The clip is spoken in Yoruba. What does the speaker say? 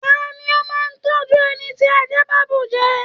Tani o máa n tọjú ẹni tí àjà ba bú jẹ?